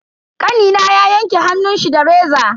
Kanina ya yanke hannunshi da reza.